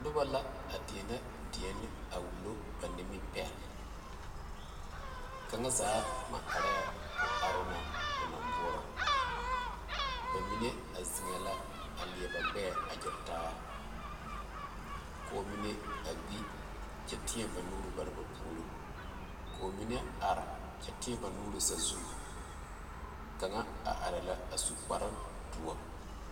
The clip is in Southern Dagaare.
Noba la a deɛnɛ deɛne a wulo ba nimipɛle kaŋa zaa maŋ areŋ o aroo na o naŋ boɔrɔ ba mine a zeŋee la a leɛ ba gbɛɛ a gyere taa ɔɔ mine a gbi kyɛ lɛe ba nuure a teɛ bare ba puoriŋ ɔɔ mine are kyɛ teɛ ba nuure sazu kaŋa ka areŋ la a su kpare doɔ